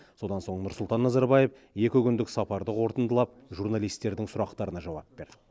содан соң нұрсұлтан назарбаев екі күндік сапарды қорытындылап журналистердің сұрақтарына жауап берді